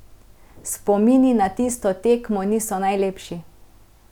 Spomini na tisto tekmo niso najlepši.